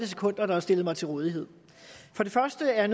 sekunder der er stillet mig til rådighed først er